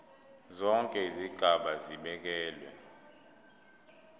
zonke izigaba zibekelwe